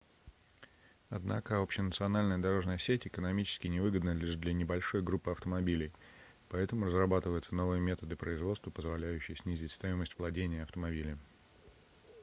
однако общенациональная дорожная сеть экономически невыгодна лишь для небольшой группы автомобилей поэтому разрабатываются новые методы производства позволяющие снизить стоимость владения автомобилем